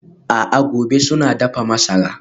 A'a gobe suna dafa masara.